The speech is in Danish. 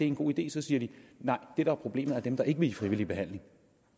en god idé så siger de nej det der er problemet er dem der ikke vil i frivillig behandling